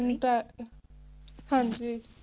ਹਾਂਜੀ